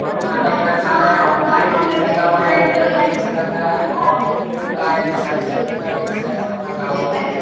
और खाना-उना खाना है माइक लगा हुआ है अच्छा लगा रहा है बहुत लोग आए है ।